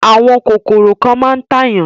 Àwọn kòkòrò kan máa ń tàyàn.